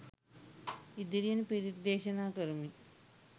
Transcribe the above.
ඉදිරියෙන් පිරිත් දේශනා කරමින්